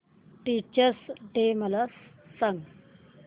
teachers day मला सांग